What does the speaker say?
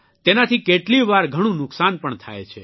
તેનાથી કેટલીયવાર ઘણું નુકસાન પણ થાય છે